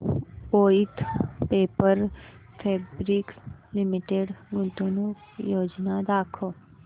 Voith paper fabrics limited गुंतवणूक योजना दाखव